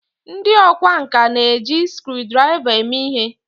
ndi okwá nkà na-eji screwdrivers eme ihe